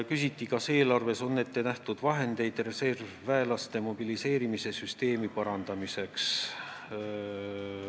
Küsiti, kas eelarves on ette nähtud vahendeid reservväelaste mobiliseerimise süsteemi parandamiseks.